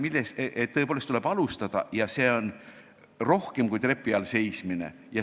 Küll aga leiti, et tõepoolest tuleb alustada – see on rohkem kui trepi all seismine.